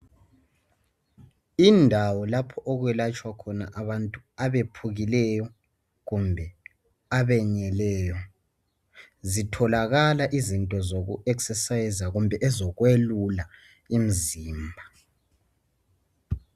Indawo lapho okwelatshwa khona abantu abephukileyo kumbe abenyeleyo zitholakala izinto zokuzivoxavoxa kumbe ezokwelula umzimba.